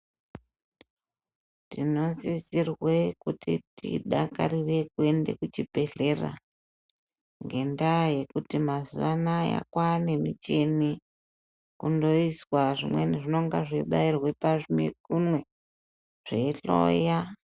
Tinosisirwa kuti tidakarire kuenda kuchibhedhlera ngenda yekuti mazuva anawa kwane michini inongoiswa imweni inenge ichibairwa pamikunwe zveihloya.